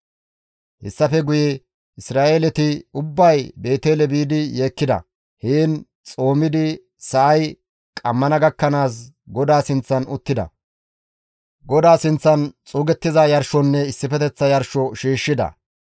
Hessafe guye Isra7eeleti ubbay Beetele biidi yeekkida; heen xoomidi sa7ay qammana gakkanaas, GODAA sinththan uttida; GODAA sinththan xuugettiza yarshonne issifeteththa yarsho shiishshida.